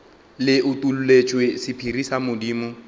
le utolletšwe sephiri sa modimo